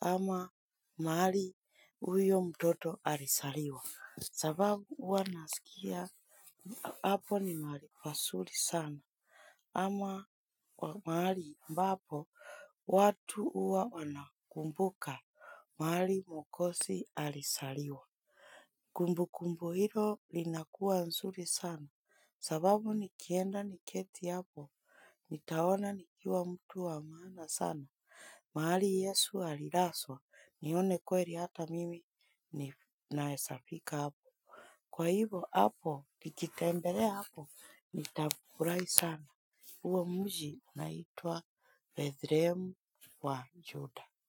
ama mahali huyo mtoto alizaliwa. Sababu huwa nasikia, hapo ni mahali pazuri sana, ama wa mahali ambapo, watu huwa wanakumbuka, mahali mwokozi alizaliwa. Kumbu kumbu hilo linakuwa nzuri sana, sababu nikienda niketi hapo, nitaona nikiwa mtu wa maana sana, mahali yesu alilazwa, nione kweli hata mimi ni naezafika hapo. Kwa hivyo hapo nikitembelea hapo nitafurahi sana huo mji unaitwa Bethlehem wa Juda.